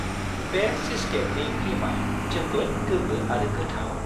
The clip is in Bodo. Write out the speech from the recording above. बे चीजकेकनि क्रिमआ जोबोद गोगो आरो गोथाव।